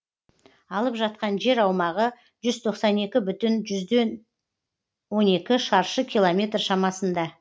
алып жатқан жер аумағы жүз тоқсан екі бүтін жүзден он екі шаршы километр шамасында